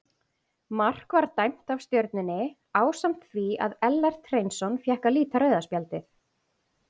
Mark var dæmt af Stjörnunni ásamt því að Ellert Hreinsson fékk að líta rauða spjaldið.